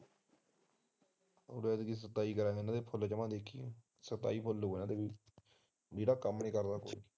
ਜਿਹੜਾ ਕੰਮ ਨੀ ਕਰਦਾ ਕੋਈ ਤੂੰ